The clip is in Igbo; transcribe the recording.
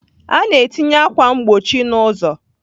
A na-etinye akwa mgbochi n'ụzọ.